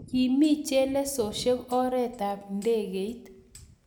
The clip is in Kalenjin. kimi chelesosyek orit ab ndegeit